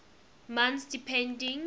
months depending